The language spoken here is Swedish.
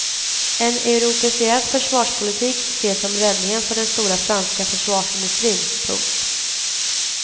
En europeiserad försvarspolitik ses som räddningen för den stora franska försvarsindustrin. punkt